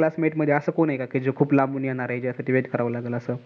classmate मध्ये अस कोण आहे कि खूप लांबून येणार आहे ज्यासाठी wait कराव लागल अस.